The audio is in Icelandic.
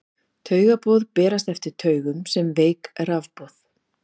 Taugaboð berast eftir taugum sem veik rafboð.